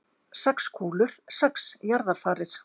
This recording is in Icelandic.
Sex kúlur, sex jarðarfarir.